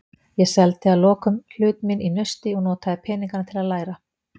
Ég seldi að lokum hlut minn í Nausti og notaði peningana til að læra.